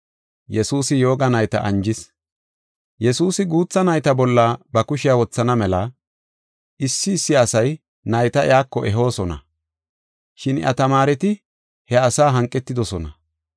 Yesuusi guutha nayta bolla ba kushiya wothana mela, issi issi asay nayta iyako ehoosona, shin iya tamaareti he asa hanqetidosona.